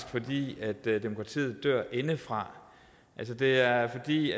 fordi demokratiet dør indefra det er fordi